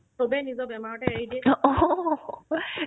চবে নিজৰ বেমাৰতে এৰি দিয়ে